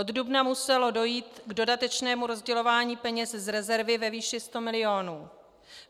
Od dubna muselo dojít k dodatečnému rozdělování peněz z rezervy ve výši 100 mil.